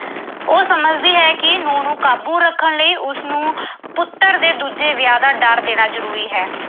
ਉਹ ਸਮਝਦੀ ਹੈ ਕਿ ਨੂੰਹ ਨੂੰ ਕਾਬੂ ਰੱਖਣ ਲਈ ਉਸਨੂੰ ਪੁੱਤਰ ਦੇ ਦੂਜੇ ਵਿਆਹ ਦਾ ਡਰ ਦੇਣਾ ਜ਼ਰੂਰੀ ਹੈ।